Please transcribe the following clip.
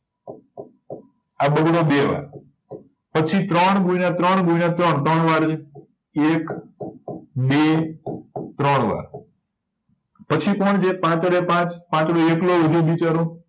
આ બગડો બે વાર પછી ત્રણ ગુણ્યા ત્રણ ગુણ્યા ત્રણ ત્રણ વાર થયું એક બે ત્રણ વાર પછી કોણ છે પાંચડેપાંચ પાંચડો એકલો વય્ધો બિચારો